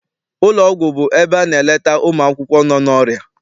Ụlọ ọgwụ bụ ebe a na-eleta ụmụakwụkwọ nọ n'ọrịa.